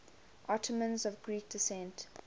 ottomans of greek descent